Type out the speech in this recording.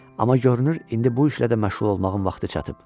Amma görünür, indi bu işlə də məşğul olmağımın vaxtı çatıb.